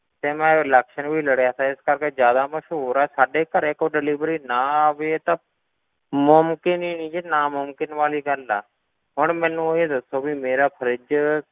ਤੇ ਮੈਂ election ਵੀ ਲੜਿਆ ਸੀ ਇਸ ਕਰਕੇ ਜ਼ਿਆਦਾ ਮਸ਼ਹੂਰ ਹਾਂ ਸਾਡੇ ਘਰੇ ਕੋਈ delivery ਨਾ ਆਵੇ ਇਹ ਤਾਂ ਮੁਮਕਿਨ ਹੀ ਨੀ ਜੀ ਨਾਮੁਮਕਿਨ ਵਾਲੀ ਗੱਲ ਆ, ਹੁਣ ਮੈਨੂੰ ਇਹ ਦੱਸੋ ਵੀ ਮੇਰਾ fridge